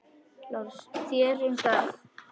LÁRUS: Þér um það.